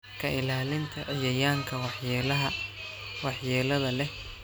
Ka ilaalinta cayayaanka waxyeelada leh ayaa muhiim u ah koritaanka dalagyada caafimaadka qaba.